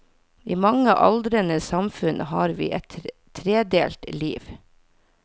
I mange aldrende samfunn har vi et tredelt liv.